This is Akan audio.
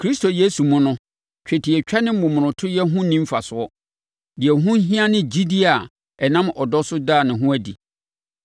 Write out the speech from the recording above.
Kristo Yesu mu no, twetiatwa ne momonotoyɛ ho nni mfasoɔ. Deɛ ɛho hia ne gyidie a ɛnam ɔdɔ so da ne ho adi.